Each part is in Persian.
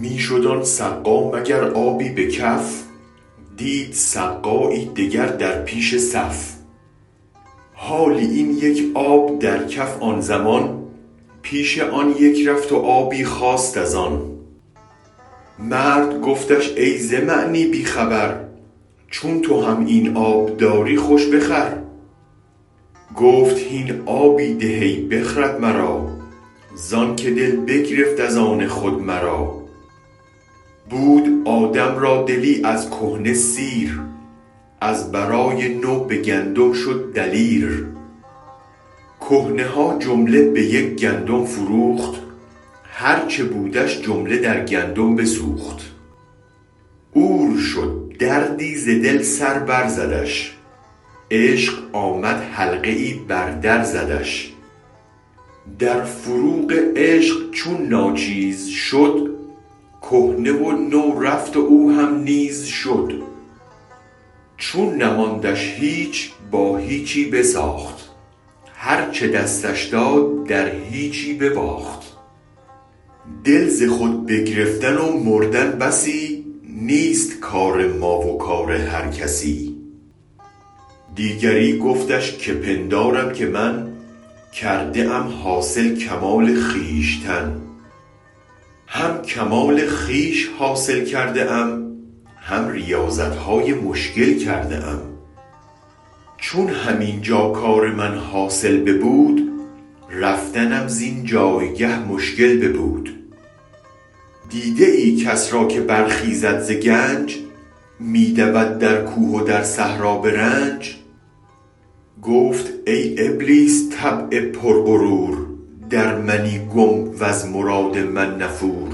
می شد آن سقا مگر آبی به کف دید سقایی دگر در پیش صف حالی این یک آب در کف آن زمان پیش آن یک رفت و آبی خواست از آن مرد گفتش ای ز معنی بی خبر چون تو هم این آب داری خوش بخور گفت هین آبی ده ای بخرد مرا زانکه دل بگرفت از آن خود مرا بود آدم را دلی از کهنه سیر از برای نو به گندم شد دلیر کهنه ها جمله به یک گندم فروخت هرچ بودش جمله در گندم بسوخت عور شد دردی ز دل سر بر زدش عشق آمد حلقه ای بر در زدش در فروغ عشق چون ناچیز شد کهنه و نو رفت و او هم نیز شد چون نماندش هیچ با هیچی بساخت هرچ دستش داد در هیچی به باخت دل ز خود بگرفتن و مردن بسی نیست کار ما و کار هر کسی دیگری گفتش که پندارم که من کرده ام حاصل کمال خویشتن هم کمال خویش حاصل کرده ام هم ریاضتهای مشکل کرده ام چون هم اینجا کار من حاصل ببود رفتنم زین جایگه مشکل ببود دیده ای کس را که برخیزد ز گنج می دود در کوه و در صحرا به رنج گفت ای ابلیس طبع پر غرور در منی گم وز مراد من نفور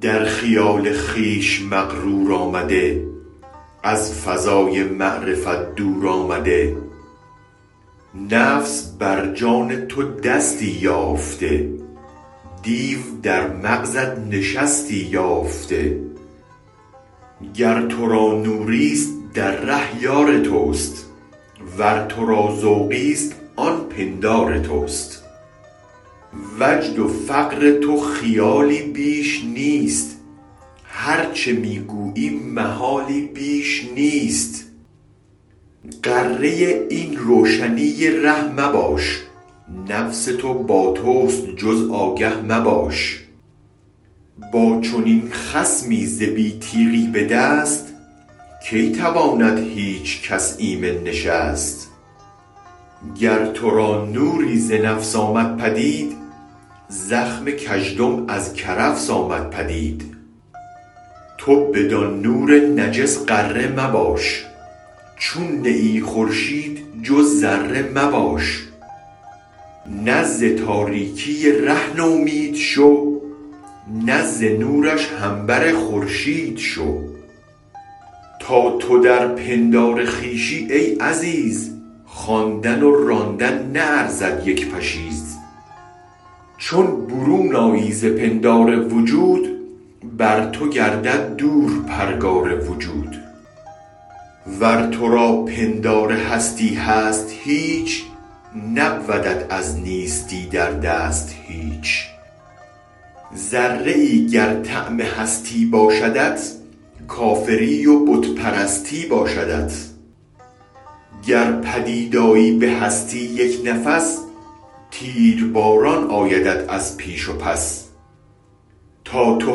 در خیال خویش مغرور آمده از فضای معرفت دورآمده نفس بر جان تو دستی یافته دیو در مغزت نشستی یافته گر ترا نوریست در ره یارتست ور ترا ذوقیست آن پندار تست وجد و فقر تو خیالی بیش نیست هرچ می گویی محالی بیش نیست غره این روشنی ره مباش نفس تو باتست جز آگه مباش با چنین خصمی ز بی تیغی به دست کی تواند هیچ کس ایمن نشست گر ترا نوری ز نفس آمد پدید زخم کژدم از کرفس آمد پدید تو بدان نور نجس غره مباش چون نه ای خورشید جز ذره مباش نه ز تاریکی ره نومید شو نه ز نورش هم بر خورشید شو تا تو در پندار خویشی ای عزیز خواندن و راندن نه ارزد یک پشیز چون برون آیی ز پندار وجود بر تو گردد دور پرگار وجود ور ترا پندار هستی هست هیچ نبودت از نیستی در دست هیچ ذره ای گر طعم هستی باشدت کافری و بت پرستی با شدت گر پدید آیی به هستی یک نفس تیر باران آیدت از پیش و پس تا تو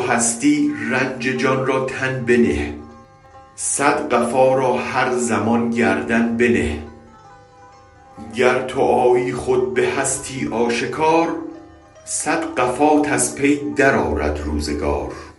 هستی رنج جان را تن بنه صد قفا را هر زمان گردن بنه گر تو آیی خود به هستی آشکار صد قفات از پی در آرد روزگار